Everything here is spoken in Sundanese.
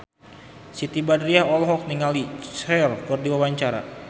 Siti Badriah olohok ningali Cher keur diwawancara